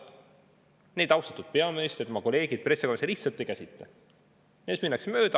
Neid austatud peaminister ja tema kolleegid pressikonverentsil lihtsalt ei käsitle, neist minnakse mööda.